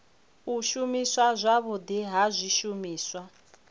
u shumiswa zwavhudi ha zwishumiswa